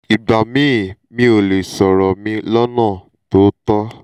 ìgbà míì mi ò lè sọ̀rọ̀ mi lọ́nà tó tọ́